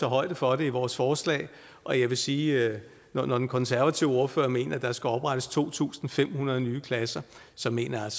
højde for det i vores forslag og jeg vil sige at når den konservative ordfører mener at der skal oprettes to tusind fem hundrede nye klasser så mener jeg